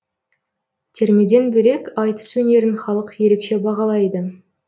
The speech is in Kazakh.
термеден бөлек айтыс өнерін халық ерекше бағалайды